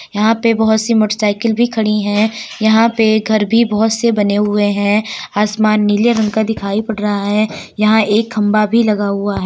यहाँ पे बहुत सी मोटरसाइकिल भी खड़ी है। यहाँ पे घर भी बहोत से बने हुए हैं| आसमान नीले रंग का दिखाई पड़ रहा है। यहाँ एक खंभा भी लगा हुआ --